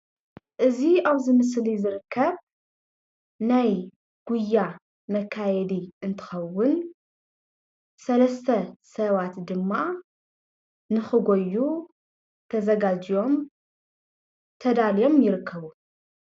እዚ ኣብዚ ምስሊ ዝርከብ ናይ ጉያ መካየዲ እንትከዉን ሰለስተ ሰባት ድማ ንክጎዩ ተዘጋጅዮም ተዳልዮም ይርከብቡ